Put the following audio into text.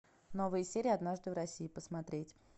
новые серии однажды в россии посмотреть